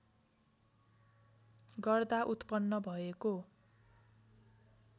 गर्दा उत्पन्न भएको